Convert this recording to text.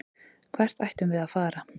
Hvert ættum við að fara?